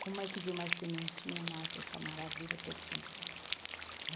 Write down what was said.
Como é que de uma sementinha nasce essa maravilha perfumada?